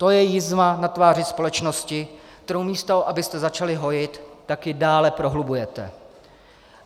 To je jizva na tváři společnosti, kterou místo abyste začali hojit, tak ji dále prohlubujete.